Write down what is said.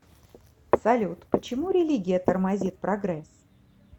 салют почему религия тормозит прогресс